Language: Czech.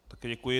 Také děkuji.